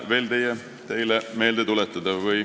Tahan teile seda meelde tuletada.